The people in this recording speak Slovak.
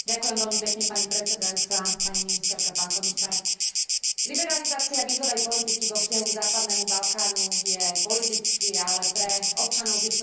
Liberalizácia vízovej politiky vo vzťahu k západnému Balkánu je politicky, ale pre občanov týchto štátov a tohto regiónu aj mimoriadne ľudsky citlivá záležitosť.